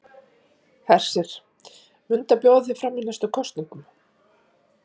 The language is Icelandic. Hersir: Muntu bjóða þig fram í næstu kosningum?